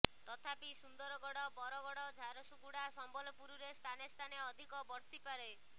ତଥାପି ସୁନ୍ଦରଗଡ଼ ବରଗଡ଼ ଝାରସୁଗୁଡ଼ା ସମ୍ବଲପୁରରେ ସ୍ଥାନେ ସ୍ଥାନେ ଅଧିକ ବର୍ଷିପାରେ